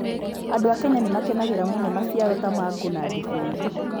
Andũ a Kenya nĩ makenagĩra mũno maciaro ta mango na ndibei.